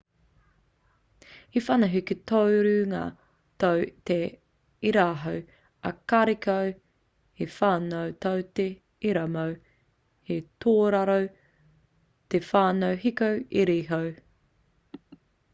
he whana hiko tōrunga tō te iraoho ā karekau he whana tō te iramoe he tōraro te whana hiko iriiho